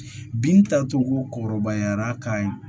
Bin tacogo ko kɔrɔbayara k'a ye